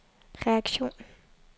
reaktion